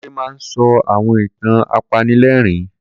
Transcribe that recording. Kunle máa ń sọ àwọn ìtàn apanilẹ́rìn